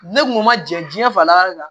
Ne kun ma jɛn diɲɛ fa la de la